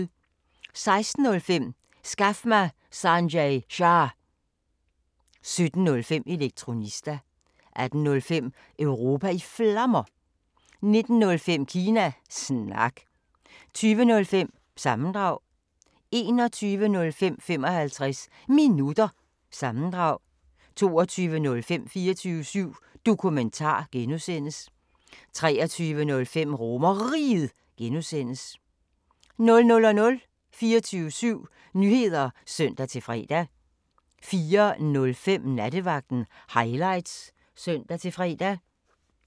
16:05: Skaf mig Sanjay Shah! 17:05: Elektronista 18:05: Europa i Flammer 19:05: Kina Snak 20:05: Sammendrag 21:05: 55 Minutter – sammendrag 22:05: 24syv Dokumentar (G) 23:05: RomerRiget (G) 00:00: 24syv Nyheder (søn-fre) 04:05: Nattevagten Highlights (søn-fre)